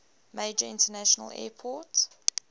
major international airport